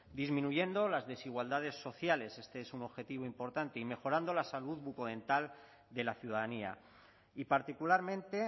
disminuyendo las desigualdades sociales este es un objetivo importante y mejorando la salud bucodental de la ciudadanía y particularmente